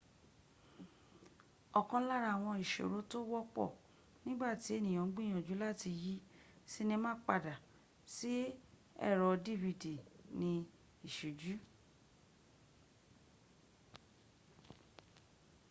òkan lára àwọn ìṣòro tó wọ́pọ̀ nígbà tí ènìyàn ń gbìyànjú láti yí sinima padà sí èrò dvd ni ìṣújù